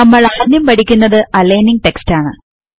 നമ്മൾ ആദ്യം പഠിക്കുന്നത് റൈറ്റർ ലെ അലയ്നിംഗ് ടെക്സ്റ്റ് ആണ്